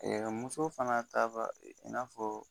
muso fana t'a ka i n'a fɔ